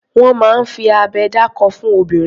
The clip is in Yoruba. Wọ́n máa ń fi abẹ dákó fún ọmọbìnrin.